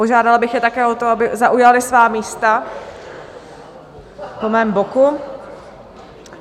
Požádala bych je také o to, aby zaujali svá místa po mém boku.